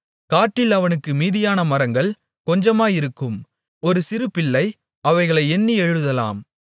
காட்டில் அவனுக்கு மீதியான மரங்கள் கொஞ்சமாயிருக்கும் ஒரு சிறுபிள்ளை அவைகளை எண்ணி எழுதலாம்